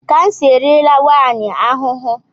Kansa eriela nwaanyị ahụ ahụ.